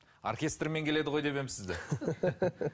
оркестрмен келеді ғой деп едім сізді